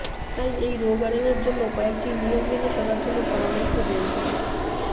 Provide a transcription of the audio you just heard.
তাই এই রোগ এড়ানোর জন্য কয়েকটি নিয়ম মেনে চলার জন্য পরামর্শ দেয়া হয়ঃ